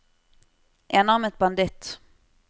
enarmet banditt